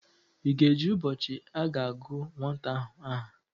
Ị ga-eje ụbọchị a ga-agụ nwata ahụ aha?